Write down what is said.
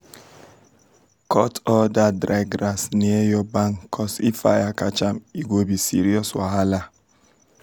cut all dat dry grass near your barn cuz if fire catch am e go be serious wahala.